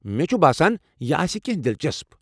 مےٚ چھُ باسان، یہِ آسہِ کینٛہہ دلچسپ۔